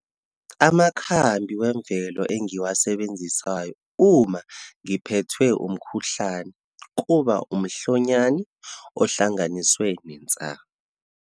Amakhambi wemvelo engiwasebenzisayo uma ngiphethwe umkhuhlane, kuba umhlonyane ohlanganiswe nensangu.